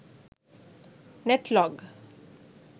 netlog